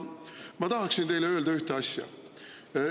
Ma tahaksin teile öelda ühte asja.